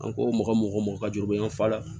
An ko mɔgɔ mɔgɔ mɔgɔ ka joli u bɛ ɲɔgɔn falen